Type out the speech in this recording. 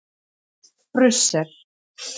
Brussel